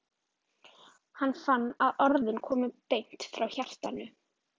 Hann fann að orðin komu beint frá hjartanu.